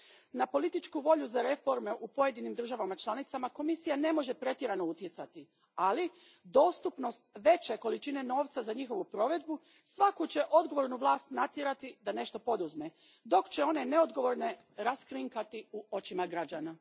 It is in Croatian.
Na političku volju za reforme u pojedinim državama članicama Komisija ne može pretjerano utjecati, ali dostupnost veće količine novca za njihovu provedbu svaku će odgovornu vlast natjerati da nešto poduzme, dok će one neodgovorne raskrinkati u očima građana.